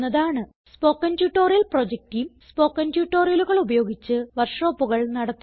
spoken tutorial project team spoken ട്യൂട്ടോറിയലുകൾ ഉപയോഗിച്ച് വർക്ക് ഷോപ്പുകൾ നടത്തുന്നു